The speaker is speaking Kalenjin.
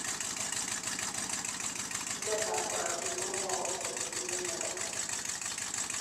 chikilet ab korotik komwou angot itinyei miondo.